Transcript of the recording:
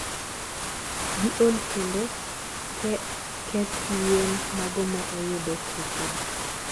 giol kendo keth yien mago ma oyudo tuoche gi